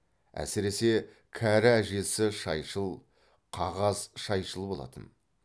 әсіресе кәрі әжесі шайшыл қағаз шайшыл болатын